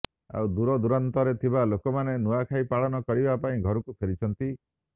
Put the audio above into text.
ଆଉ ଦୂରଦୂରାନ୍ତରରେ ଥିବା ଲୋକମାନେ ନୂଆଁଖାଇ ପାଳନ କରିବା ପାଇଁ ଘରକୁ ଫେରିଛନ୍ତି